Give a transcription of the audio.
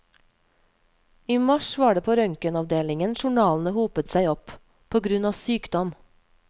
I mars var det på røntgenavdelingen journalene hopet seg opp, pågrunn av sykdom.